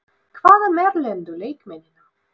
Hvað með erlendu leikmennina?